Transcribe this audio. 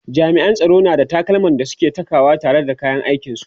jami'an tsaro na da takalman da suke Saka wa tare da kayan aikin su